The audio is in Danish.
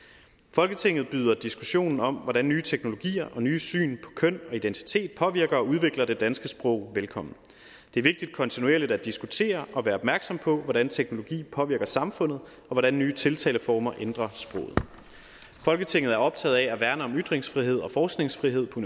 folketinget byder diskussionen om hvordan nye teknologier og nye syn på køn og identitet påvirker og udvikler det danske sprog velkommen det er vigtigt kontinuerligt at diskutere og være opmærksom på hvordan teknologi påvirker samfundet og hvordan nye tiltaleformer ændrer sproget folketinget er optaget af at værne om ytringsfrihed og forskningsfrihed på